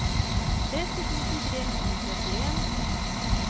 tretti tusen tre hundre og trettien